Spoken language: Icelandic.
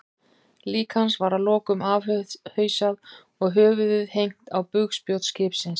Lík hans var að lokum afhausað og höfuðið hengt á bugspjót skipsins.